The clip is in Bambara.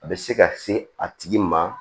A bɛ se ka se a tigi ma